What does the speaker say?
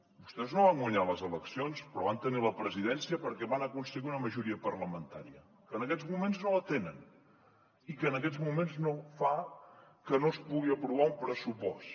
vostès no van guanyar les eleccions però van tenir la presidència perquè van aconseguir una majoria parlamentària que en aquests moments no tenen i que en aquests moments fa que no es pugui aprovar un pressupost